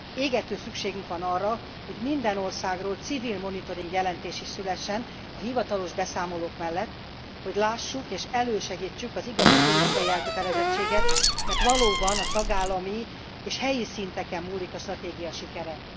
Égető szükségünk van arra, hogy minden országról civil monitoring jelentés is szülessen a hivatalos beszámolók mellett, hogy lássuk és elősegítsük az igazi politikai elkötelezettséget, mert valóban a tagállami és helyi szinteken múlik a stratégia sikere.